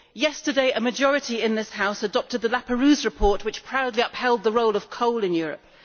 Yesterday, a majority in this House adopted the Laperrouze report which proudly upheld the role of coal in Europe.